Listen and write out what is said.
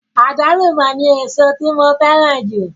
Àgbálùmọ̀ ni èso tí mo fẹ́ràn jù.